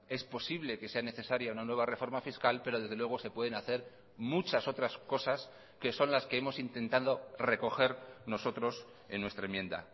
es posible que sea necesaria una nueva reforma fiscal pero desde luego se pueden hacer muchas otras cosas que son las que hemos intentado recoger nosotros en nuestra enmienda